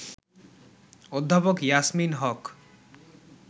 অধ্যাপক ইয়াসমিন হক